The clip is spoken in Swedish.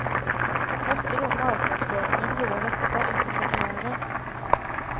Måtte då marknadsföringen bli den rätta inför premiären.